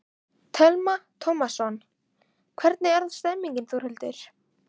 Telma Tómasson: Hvernig er stemningin Þórhildur?